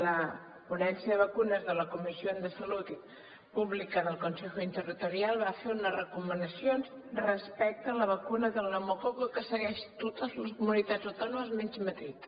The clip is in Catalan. la ponència de vacunes de la comisión de salud pública del consejo interterritorial va fer unes recomanacions respecte a la vacuna del pneumococ que segueixen totes les comunitats autònomes menys madrid